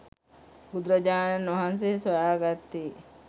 බුදුරජාණන් වහන්සේ සොයා ගත්තේ